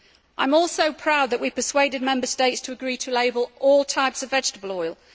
I am also proud that we persuaded Member States to agree to label all types of vegetable oil.